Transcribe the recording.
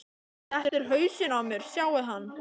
Þetta er hausinn á mér, sjáiði hann?